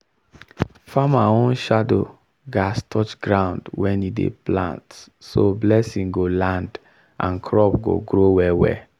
farmer own shadow gats touch ground when e dey plant so blessing go land and crop go grow well well.